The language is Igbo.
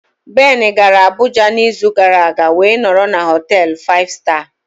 Ben gara Abuja n'izu gara aga wee nọrọ na họtel 5 star.